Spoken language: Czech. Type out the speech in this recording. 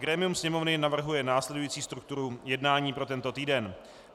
Grémium Sněmovny navrhuje následující strukturu jednání pro tento týden: